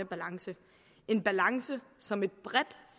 balance en balance som et bredt